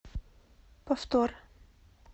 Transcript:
повтор